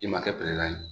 I ma kɛ ye